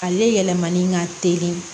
Ale yɛlɛmani ka teli